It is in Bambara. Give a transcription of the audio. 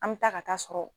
An bɛ taa ka taa sɔrɔ